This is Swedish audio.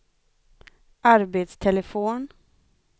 arbetstelefon